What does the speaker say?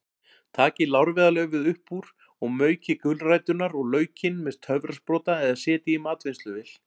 Takið lárviðarlaufið upp úr og maukið gulræturnar og laukinn með töfrasprota eða setjið í matvinnsluvél.